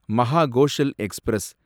Mahakoshal express